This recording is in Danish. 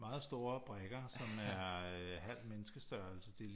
Meget store brikker som er halv menneskestørrelse de